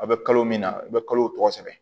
A bɛ kalo min na i bɛ kalo tɔgɔ sɛbɛn